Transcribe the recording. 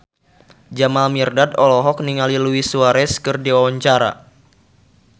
Jamal Mirdad olohok ningali Luis Suarez keur diwawancara